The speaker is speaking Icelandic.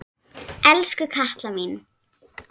Elsku Katla mín.